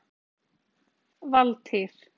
Valtýr